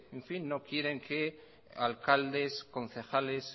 no quieren que alcaldes concejales